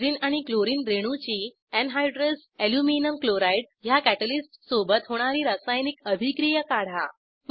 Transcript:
benzene आणि chlorine रेणूची anhydrous aluminium chloride ह्या कॅटॅलिस्ट सोबत होणारी रासायनिक अभिक्रिया काढा